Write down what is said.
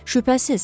Şübhəsiz.